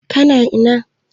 Ka na ina?